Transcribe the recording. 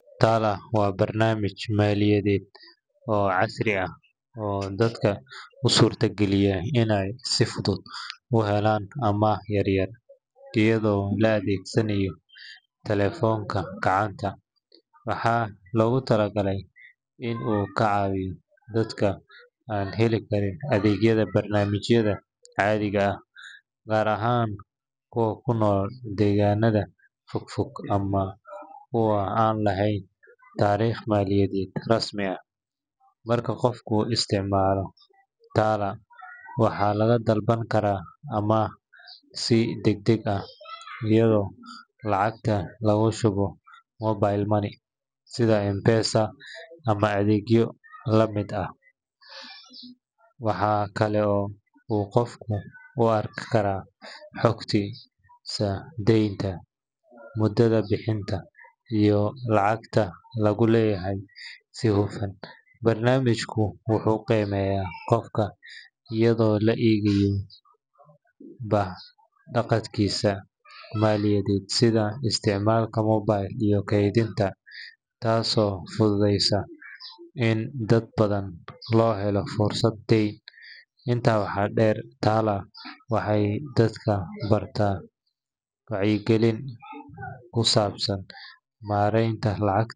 TALA waa barnaamij maaliyadeed oo casri ah oo dadka u suurtageliya inay si fudud u helaan amaah yar-yar iyadoo la adeegsanayo telefoonka gacanta. Waxaa loogu talagalay in uu ka caawiyo dadka aan heli karin adeegyada bangiyada caadiga ah, gaar ahaan kuwa ku nool deegaanada fog fog ama kuwa aan lahayn taariikh maaliyadeed rasmi ah. Marka qofku isticmaalo TALA, waxaa laga dalban karaa amaah si degdeg ah, iyadoo lacagta lagu shubo mobile money sida M-Pesa ama adeegyo la mid ah. Waxaa kale oo uu qofku ku arki karaa xogtiisa deynta, muddada bixinta, iyo lacagta lagu leeyahay si hufan. Barnaamijku wuxuu qiimeeyaa qofka iyadoo la eegayo habdhaqankiisa maaliyadeed sida isticmaalka mobilka iyo kaydinta, taasoo fududeysa in dad badan loo helo fursad deyn. Intaa waxaa dheer, TALA waxay dadka baraa wacyigelin ku saabsan maaraynta lacagta.